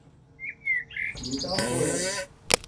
металл ковер